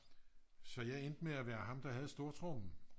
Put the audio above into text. så jeg endte med at være ham der havde stortrommen